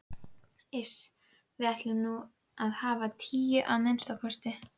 Iss. við ætlum að hafa tíu, að minnsta kosti.